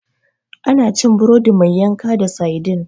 Ana cin burodi mai yanka da saidin.